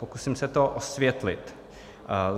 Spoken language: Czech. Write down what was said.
Pokusím se to osvětlit.